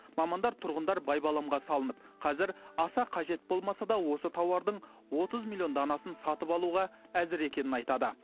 мамандар тұрғындар байбаламға салынып қазір аса қажет болмаса да осы тауардың отыз миллион данасын сатып алуға әзір екенін айтады